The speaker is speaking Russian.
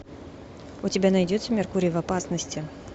у тебя найдется меркурий в опасности